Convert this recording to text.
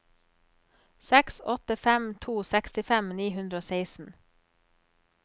seks åtte fem to sekstifem ni hundre og seksten